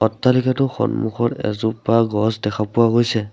অট্টালিকাটোৰ সন্মুখত এজোপা গছ দেখা পোৱা গৈছে।